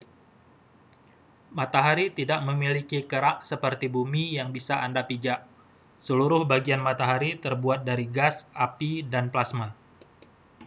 matahari tidak memiliki kerak seperti bumi yang bisa anda pijak seluruh bagian matahari terbuat dari gas api dan plasma